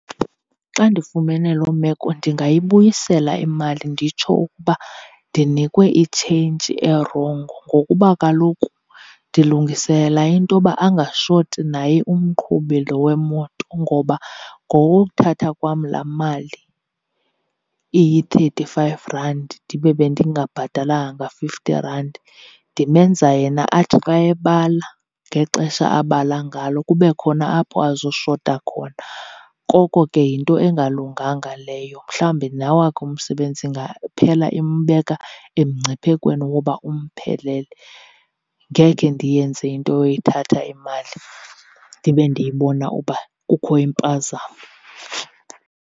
Xa ndifumene loo meko ndingayibuyisela imali nditsho ukuba ndinikwe itshintshi erongo, ngokuba kaloku ndilungiselela into yoba angashoti naye umqhubi lo wemoto. Ngoba ngowuthatha kwam laa mali iyi-thirty five rand ndibe bendingabhatalanga nga-fifty rand ndimenza yena athi xa ebala ngexesha abala ngalo kube khona apho azoshota khona. Koko ke yinto engalunganga leyo, mhlawumbi nawakhe umsebenzi ingaphela imbeka emngciphekweni woba umphelele. Ngekhe ndiyenze into yoyithatha imali ndibe ndiyibona uba kukho impazamo.